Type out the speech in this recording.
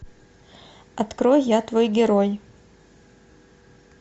открой я твой герой